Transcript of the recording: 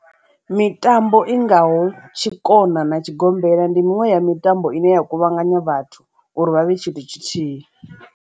Mitambo i ngaho tshikona na tshigombela ndi miṅwe ya mitambo ine ya kuvhanganya vhathu uri vha vhe tshithu tshithihi.